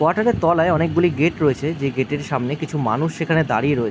তলায় অনেকগুলি গেট রয়েছে যে গেট এর সামনে কিছু মানুষ সেখানে দাঁড়িয়ে রয়ে ।